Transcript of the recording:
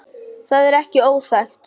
Það er ekki óþekkt.